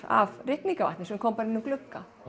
af rigningavatni sem kom inn um gluggann